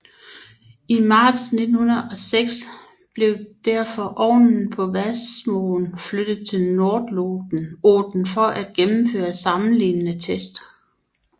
I marts 1906 blev derfor ovnen på Vassmoen flyttet til Nododden for at gennemføre sammenlignende tests